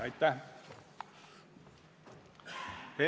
Aitäh!